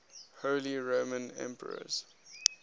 holy roman emperors